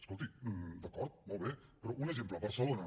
escolti d’acord molt bé però un exemple barcelona